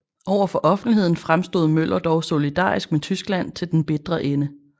Over for offentligheden fremstod Møller dog solidarisk med Tyskland til den bitre ende